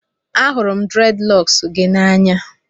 Ahụrụ m Dreadilocks gị n'anya